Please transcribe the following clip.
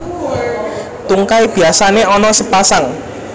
Tungkai biasané ana sepasang